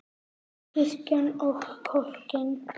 Kirkjan og kortin.